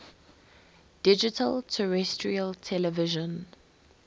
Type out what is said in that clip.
digital terrestrial television